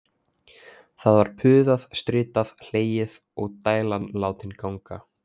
Það var puðað, stritað, hlegið og dælan látin ganga.